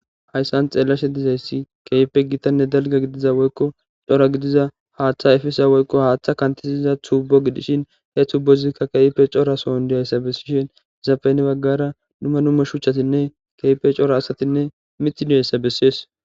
Hayssan xeellashe dizayssa keehippe gitanne dalgga gidiza woykko cora gidiza haatha efiza woykko haatha kanthisiza tuubbo gidishin he tuubbozi qa keehippe corason dizayssa besishe izappe hinibaggara dumma dumma shuchchatinne keehippe cora asatinne mithi deyssa bessees.